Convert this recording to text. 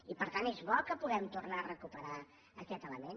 i per tant és bo que puguem tornar a recuperar aquest element